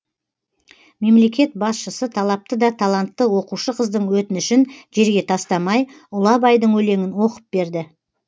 мемлекет басшысы талапты да талантты оқушы қыздың өтінішін жерге тастамай ұлы абайдың өлеңін оқып берді